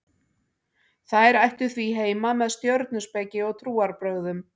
þær ættu því heima með stjörnuspeki og trúarbrögðum